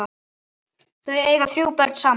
Þau eiga þrjú börn saman.